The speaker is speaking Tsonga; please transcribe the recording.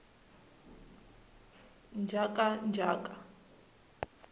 njhakanjhaka